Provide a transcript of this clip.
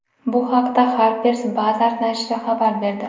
Bu haqda Harper’s Bazaar nashri xabar berdi .